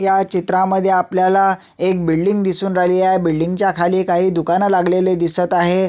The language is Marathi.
ह्या चित्रामध्ये आपल्याला एक बिल्डिंग दिसून राहिली आहे ह्या बिल्डिंग च्या खाली काही दुकान लागलेली दिसत आहे.